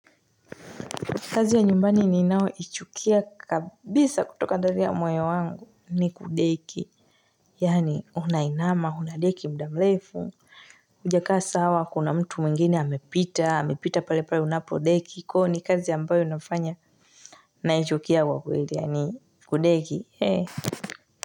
Kazi ya nyumbani ninayoichukia kabisa kutoka ndani ya moyo wangu ni deki. Yani unainama, unadeki muda mrefu, hujakaa sawa kuna mtu mwingini amepita, amepita pale pale unapodeki. Kwa hivyo ni kazi ambayo inafanya naichukia kwa kweli ni kudeki.